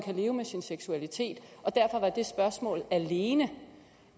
leve med sin seksualitet og derfor var det spørgsmål alene